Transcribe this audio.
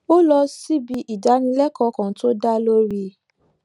ó lọ síbi ìdánilékòó kan tó dá lórí